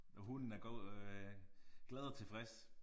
Og hunden er øh glad og tilfreds